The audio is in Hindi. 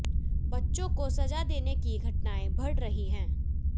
बच्चों को सजा देने की घटनाएं बढ़ रही हैं